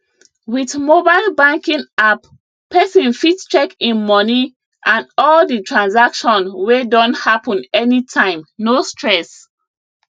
with mobile banking app person fit check im money and all the transaction wey don happen anytime no stress